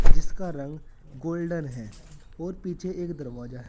जिसका रंग गोल्डन है और पीछे एक दरवाजा ह--